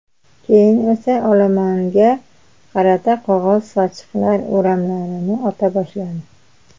Keyin esa olomonga qarata qog‘oz sochiqlar o‘ramlarini ota boshladi.